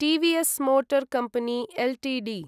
TVS motor company Ltd